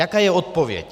Jaká je odpověď?